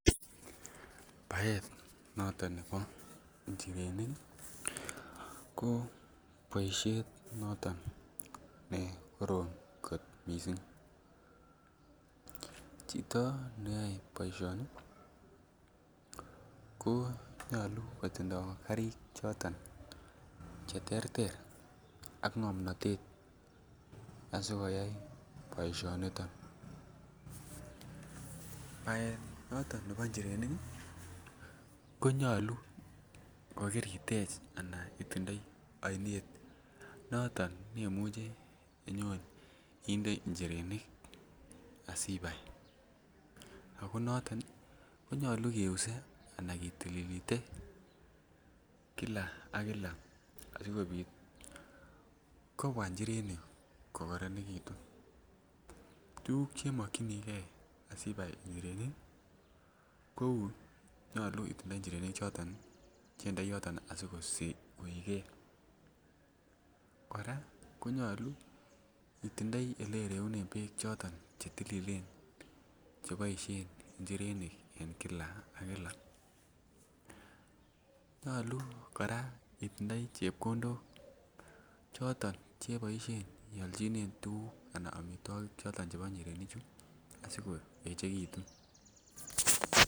Baet noton nebo njirenik ii ko boisiet noton ne korom kot missing, chito neyoe boisioni ko nyolu kotinye karik choton cheterter ak ng'omnotet asikoyai boisioniton, baet noton nebo njirenik ii konyolu kokiritech anan itindoi oinet nwmuji inyon inde njirenik asibai, ako noton konyolu keuse anan kitililite kila ak kila asikobit kobwa njirenik kokoronegitun, tuguk chemokyinigen asibai njirenik ko nyolu itinye njirenik choton cheindoi yoton asikoigen, kora konyolu itindoi yoton oleireunen beek choton chetililen cheboisien njirenik en kila ak kila, nyolu kora itindoi chebkondok choton cheiboisien ialjinen tuguk anan omitwogik choton chebo njirenik asikoechegitun.